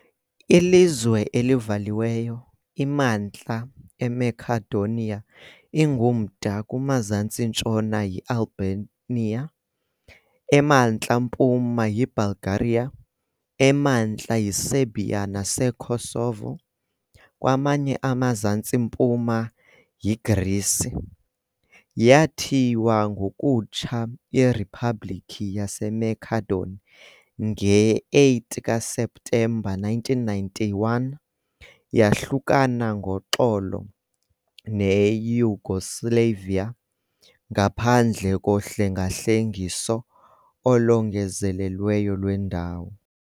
Ilizwe elivaliweyo, iMantla eMacedonia ingumda kumazantsi-ntshona yiAlbania, emantla mpuma yiBulgaria, emantla yiSerbia naseKosovo, kwaye emazantsi mpuma yiGrisi. Yathiywa ngokutsha iRiphabhlikhi yaseMakedoni nge-8 kaSeptemba 1991, yahlukana ngoxolo neYugoslavia ngaphandle kohlengahlengiso olongezelelweyo lwendawo.